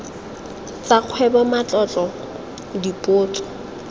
tsa kgwebo matlotlo dipotso jj